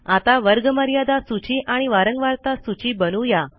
आता वर्गमर्यादा सूची आणि वारंवारता सूची बनवू या